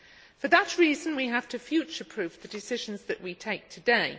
For that reason we have to future proof the decisions that we take today.